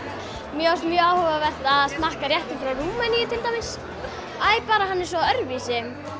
mér fannst mjög áhugavert að smakka réttinn frá Rúmeníu til dæmis bara hann er svo öðruvísi